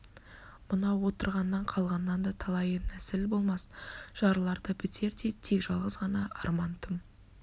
мынау отырғаннан қалғаннан да талайы нәсіл болмас жарылар да бітер де тек жалғыз ғана арман тым